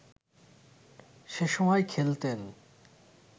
সেসময় খেলতেন